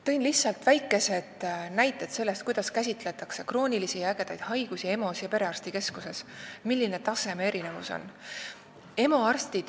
Toon lihtsalt väikesed näited sellest, kuidas käsitletakse kroonilisi ja ägedaid haigusi EMO-s ja kuidas perearstikeskuses, milline on taseme erinevus.